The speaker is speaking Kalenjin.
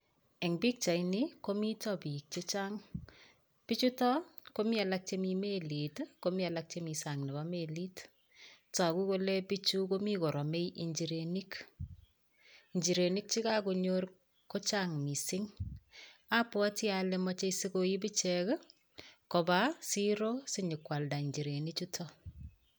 Eng' pikchaini komito biik chechang' bichotok komi alak chemi melit komi alak chemi sang' nebo melit toku kole bichu komi koromei injirenik injirenik chekakonyor kochang' mising' apwoti ale mochei sikoib ichek kobo siro sinyikwalda njirenichuto